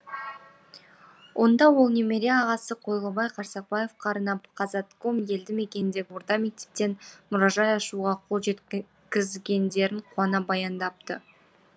онда ол немере ағасы қойлыбай қарсақбаевқа арнап қазатком елді мекеніндегі орта мектептен мұражай ашуға қол жеткізгендерін қуана баяндапты